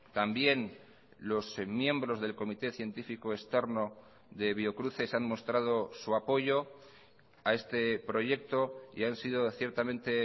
también los miembros del comité científico externo de biocruces han mostrado su apoyo a este proyecto y han sido ciertamente